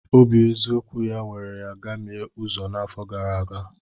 Obi eziokwu ya were ya gamie uzo n'afọ gara aga.